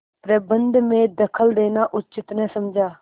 प्रबंध में दखल देना उचित न समझा